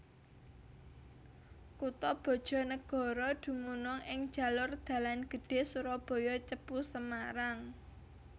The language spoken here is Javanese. Kutha BajaNagara dumunung ing jalur dalan gedhé Surabaya Cepu Semarang